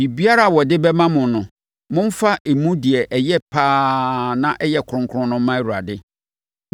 Biribiara a wɔde bɛma mo no, momfa emu deɛ ɛyɛ pa ara na ɛyɛ kronkron no mma Awurade.